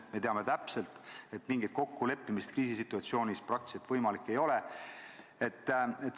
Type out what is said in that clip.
Me teame täpselt, et mingi kokkuleppimine kriisisituatsioonis praktiliselt võimalik ei ole.